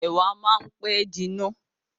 Ẹ̀wà máa ń pẹ́ jiná.